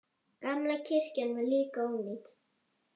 Gamla kirkjan var líka ónýt.